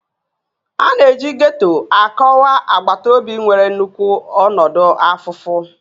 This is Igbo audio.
A na-eji Getto akọwa agbata obi nwere nnukwu ọnọdụ afụfụ